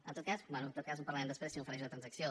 en tot cas bé en parlarem després si m’ofereix una transacció